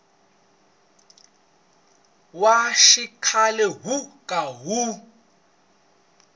wa xikhale wo ka wu